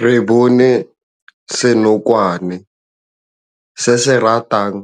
Re bone senokwane se se ratang